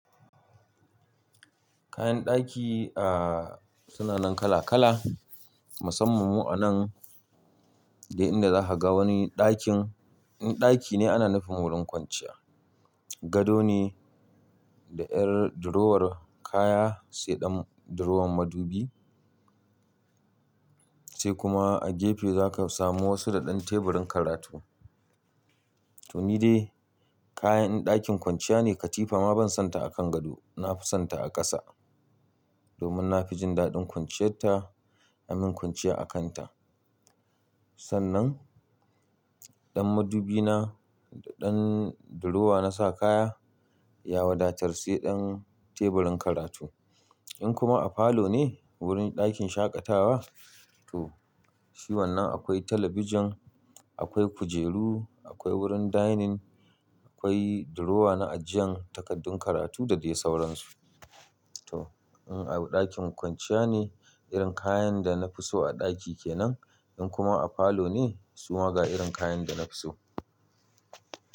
Kayan daki, ah, suna nan kala-kala, musamman mu anan duk inda za ka ga wani dakin. In daki ne ana nufin wurin kwanciya, gado ne da yar durowar kaya sai ɗan durowar madubi sai kuma a gefe za ka samu wasu da ɗan teburin karatu. To ni dai kayan dakin kwanciya ne katifa ma ban son ta a kan gado, na fi son ta a ƙasa domin na fi jin daɗin kwanciyarta, i mean kwanciya a kan ta. Sannan ɗan madubi na da ɗan durowa na sa kaya ya wadatar sai ɗan teburin karatu. In kuma a falo ne wurin dakin shaƙatawa to shi wannan akwai talabijin, akwai kujeru, akwai wurin dining, akwai durowa na ajiyan takardun karatu da dai sauransu. To in a ɗakin kwanciya ne irin kayan da na fi so a daki kenan in kuma a falo ne suma ga irin kayan da na fi so.